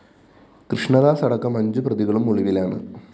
കൃഷ്ണദാസ് അടക്കം അഞ്ചു പ്രതികളും ഒളിവിലാണ്